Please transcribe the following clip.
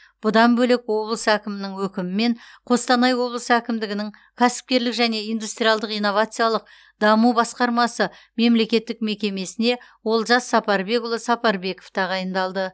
бұдан бөлек облыс әкімінің өкімімен қостанай облысы әкімдігінің кәсіпкерлік және индустриалдық инновациялық даму басқармасы мемлекеттік мекемесіне олжас сапарбекұлы сапарбеков тағайындалды